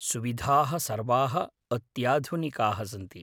सुविधाः सर्वाः अत्याधुनिकाः सन्ति।